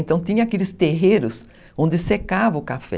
Então tinha aqueles terreiros onde secava o café.